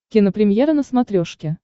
кинопремьера на смотрешке